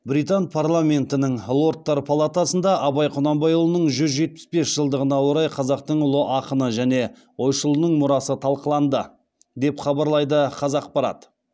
британ парламентінің лордтар палатасында абай құнанбайұлының жүз жетпіс бес жылдығына орай қазақтың ұлы ақыны және ойшылының мұрасы талқыланды деп хабарлайды қазақпарат